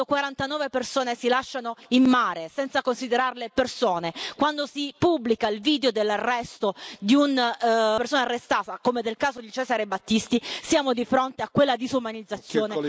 Quando 49 persone si lasciano in mare, senza considerarle persone, quando si pubblica il video dell'arresto di una persona, come nel caso di Cesare Battisti, siamo di fronte a quella disumanizzazione